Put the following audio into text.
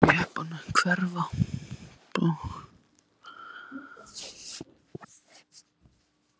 Hann sá jeppann hverfa bak við hæð og birtast aftur.